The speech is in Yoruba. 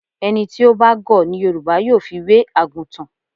Ẹni tí ó bá gọ̀ ni Yorùbá yóò fi wé àgùtàn.